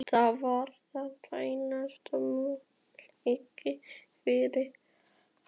Það var þeirra einasti möguleiki til að yfirbuga illfyglið.